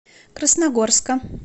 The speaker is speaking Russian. красногорска